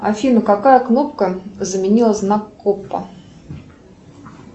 афина какая кнопка заменила знак коппа